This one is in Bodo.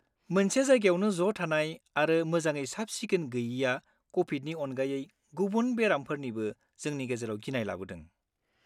मोनसे जायगायावनो ज' थानाय आरो मोजाङै साब-सिखोन गोयिआ क'भिदनि अनगायै गुबुन बेरामफोरनिबो जोंनि गेजेराव गिनाय लाबोदों।